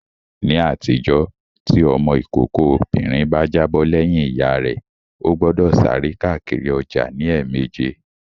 Ní àtijọ́, tí ọmọ ìkókó obìnrin bá jábọ̀ lẹ́yìn Ìyá rẹ, ó gbọ́dọ̀ sáré káàkiri ọjà ní ẹ̀mẹjẹ